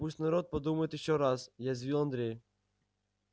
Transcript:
пусть народ подумает ещё раз язвил андрей